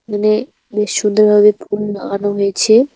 এখানে বেশ সুন্দরভাবে ফুল লাগানো হয়েছে।